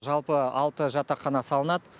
жалпы алты жатақхана салынады